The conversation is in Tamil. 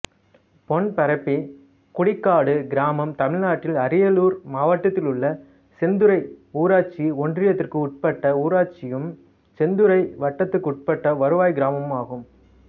பொன்பரப்பி குடிக்காடு கிராமம் தமிழ்நாட்டின் அரியலூர் மாவட்டத்திலுள்ள செந்துறை ஊராட்சி ஒன்றியத்துக்குட்பட்ட ஊராட்சியும் செந்துறை வட்டத்துக்குட்பட்ட வருவாய் கிராமமும் ஆகும்